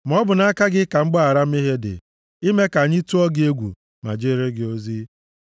Ma ọ bụ nʼaka gị ka mgbaghara mmehie + 130:4 \+xt Ọpụ 34:7; Neh 9:17; Dan 9:9\+xt* dị; ime ka anyị tụọ gị egwu, ma jeere gị ozi.